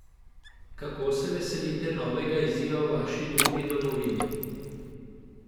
Kako se veselite novega izziva v vaši drugi domovini?